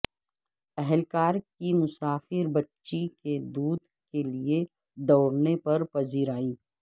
اہلکار کی مسافر بچی کے دودھ کے لیے دوڑنے پر پذیرائی